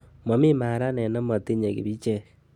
momi maranet nemotinyei kibichek